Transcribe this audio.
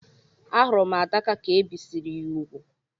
A hurum Ada ka ebisiri ya úgwù.